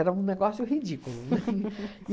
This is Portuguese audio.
Era um negócio ridículo.